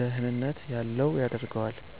ደህንነት ያለው ያደርገዋል።